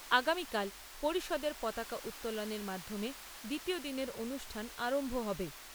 আগামীকাল পরিষদের পতাকা উত্তোলনের মাধ্যমে দ্বিতীয় দিনের অনুষ্ঠান আরম্ভ হবে।